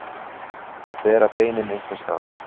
Að bera beinin einhvers staðar